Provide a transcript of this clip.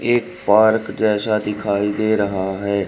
एक पार्क जैसा दिखाई दे रहा है।